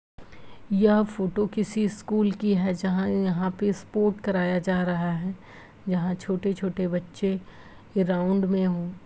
यह फोटो किसी स्कूल की है जहाँ यहां पे स्पोर्ट कराया जा रहा है। यहां छोटे - छोटे बच्चे के राउण्ड में हो।